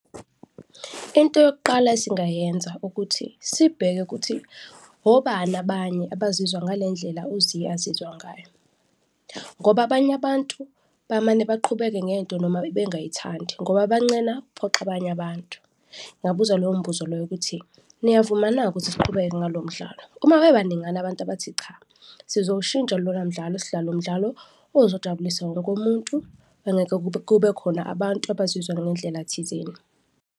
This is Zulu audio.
Into yokuqala esingayenza ukuthi sibheke kuthi obani abanye abazizwa ngale ndlela u-Zea azizwa ngayo ngoba abanye abantu bamane baqhubeke ngento noma bengayithandi ngoba bancena ukukuphoxa abanye abantu. Ngingabuza loyo mbuzo loyo ukuthi niyavuma na ukuthi siqhubeke ngalo mdlalo? Uma bebaningana abantu abathi cha, sizowushintsha lona mdlalo sidlale umdlalo ozojabulisa wonke umuntu, bengeke kube khona abantu abazizwa ngendlela thizeni.